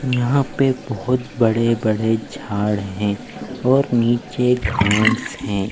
यहाँ पे बहुत बड़े बड़े झाड़ हैं और नीचे घांस हैं।